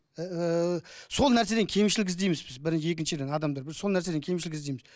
ііі сол нәрседен кемшілік іздейміз біз бір екіншіден адамдар бір сол нәрседен кемшілік іздейміз